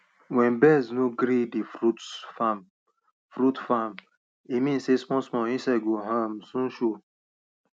wen birds no gree the fruits farm fruits farm e mean sey small small insect go um soon show